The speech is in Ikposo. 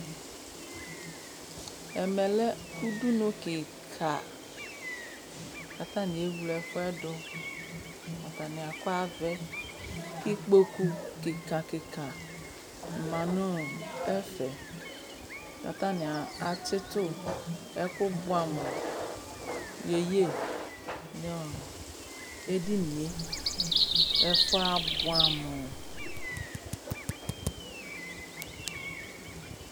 Ɛmɛlɛ ʊdʊnu kika katani ewle efuɛdu atani akɔ avɛ ikpokʊ kika kika manu ɛfɛ katani atsitʊ ɛkʊbuɛ amu nu ediŋe ɛfuɛ abuɛ amʊ